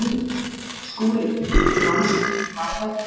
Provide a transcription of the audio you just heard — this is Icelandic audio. SKÚLI: Rannsóknin var verri.